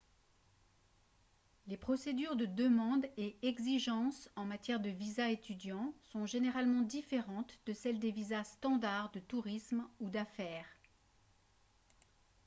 les procédures de demande et exigences en matière de visas étudiants sont généralement différentes de celles des visas standard de tourisme ou d'affaires